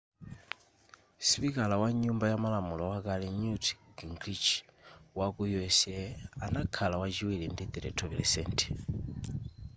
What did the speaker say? sipikala wa nyumba yamalamulo wakale newt gingrich waku u.s. anakhala wachiwiri ndi 32 %